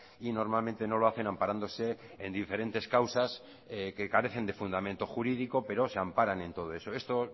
y normalmente no lo hacen amparándose en diferentes causas que carecen de fundamento jurídico pero se amparan en todo eso esto